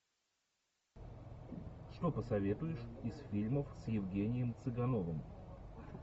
что посоветуешь из фильмов с евгением цыгановым